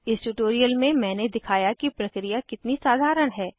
इस ट्यूटोरियल में मैंने दिखाया कि प्रक्रिया कितनी साधारण है